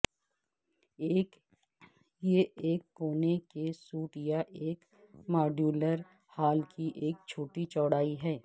یہ ایک کونے کے سوٹ یا ایک ماڈیولر ہال کی ایک چھوٹی چوڑائی ہے